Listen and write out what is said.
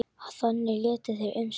Þannig létu þeir um stund.